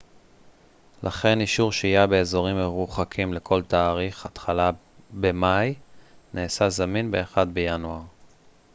לכן אישור שהייה באזורים מרוחקים לכל תאריך התחלה במאי נעשה זמין ב-1 בינואר